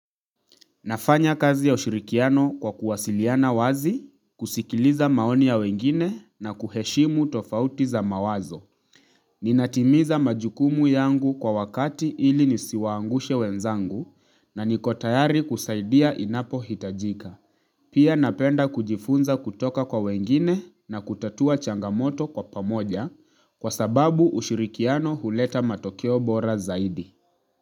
Nafanya kazi ya ushirikiano kwa kuwasiliana wazi, kusikiliza maoni ya wengine na kuheshimu tofauti za mawazo. Ninatimiza majukumu yangu kwa wakati ili nisiwaangushe wenzangu na niko tayari kusaidia inapohitajika. Pia napenda kujifunza kutoka kwa wengine na kutatua changamoto kwa pamoja kwa sababu ushirikiano huleta matokeo bora zaidi.